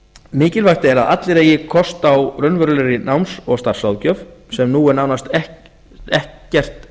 mikilvægt er að allir eigi kost á raunverulegri náms og starfsráðgjöf en nú er nánast ekkert